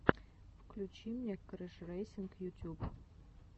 включи мне крэшрэйсинг ютюб